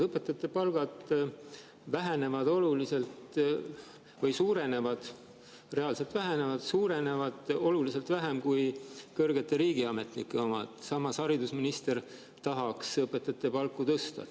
Õpetajate palgad suurenevad – reaalselt vähenevad – oluliselt vähem kui kõrgete riigiametnike omad, samas, haridusminister tahaks õpetajate palku tõsta.